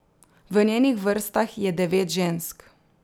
V njenih vrstah je devet žensk.